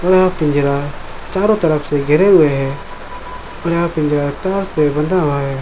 और यह पिंजरा चारो तरफ से गहरे हुए हैं और यह पिंजरा तार से बंधा हुआ हैं।